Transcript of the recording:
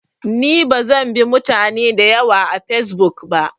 Ni bazan bi mutane dayawa a fesbuk ba